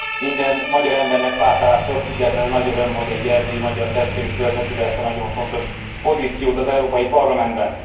Minden magyar embernek, pártállástól függetlenül nagy öröm, hogy egy erdélyi magyar testvérünk töltheti be ezt a nagyon fontos pozíciót az Európai Parlamentben.